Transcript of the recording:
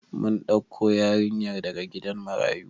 Mun ɗauko yarinyar daga gidan marayu